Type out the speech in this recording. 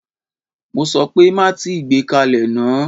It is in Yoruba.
Mo sọ pé má tíì gbé kalẹ̀ náà!